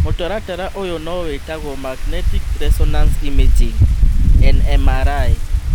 Mũtaratara ũyũ no wĩtagwo magnetic resonance imaging (NMRI)